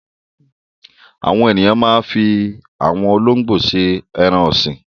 Àwọn ènìyàn máa ń fi àwọn olóńgbò ṣe ẹran-ọ̀sìn.